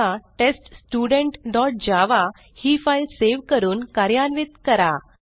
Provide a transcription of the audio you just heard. आता test student dot Java ही file save करून कार्यान्वित करा